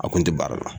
A kun tɛ baara la